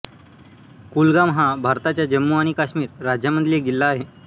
कुलगाम हा भारताच्या जम्मू आणि काश्मीर राज्यामधील एक जिल्हा आहे